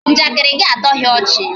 Njakịrị gị atọghị ọchị